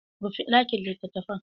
Rufe dakin litattafan!